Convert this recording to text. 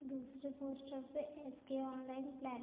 दूसरे पोस्टर पे एस के ऑनलाइन प्लान --